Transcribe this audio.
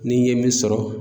Ni n ye min sɔrɔ